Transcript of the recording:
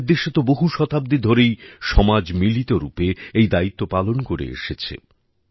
আমাদের দেশে তো বহু শতাব্দী ধরেই সমাজ মিলিত রুপে এই দায়িত্ব পালন করে এসেছে